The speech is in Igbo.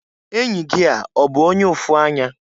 Enyi gị a ọ bụ onye ụfụanya?